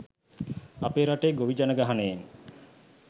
අප රටේ ගොවි ජනගහනයෙන්